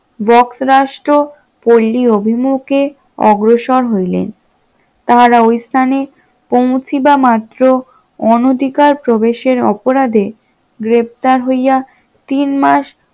রাষ্ট্র পল্লী অভিমুখে অগ্রসর হইলেন, তাহারা ও স্থানে পৌঁছিবা মাত্র অনধিকার প্রবেশের অপরাধে গ্রেপ্তার হইয়া তিন মাস